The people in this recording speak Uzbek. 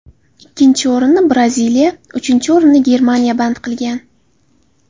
Ikkinchi o‘rinni Braziliya, uchinchi o‘rinni Germaniya band qilgan.